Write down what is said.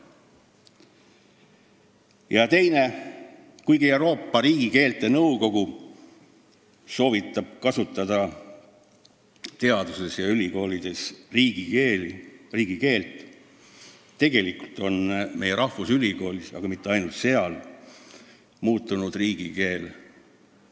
Ja teiseks: kuigi Euroopa riigikeelte nõukogu soovitab kasutada teadustöös ja ülikoolides riigikeelt, on meie rahvusülikoolis, aga mitte ainult seal, riigikeel muutunud köögikeeleks.